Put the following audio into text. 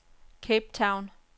Cape Town